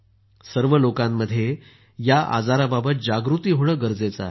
सर्व लोकांमध्ये या आजाराबाबत जागृती होणं गरजेचं आहे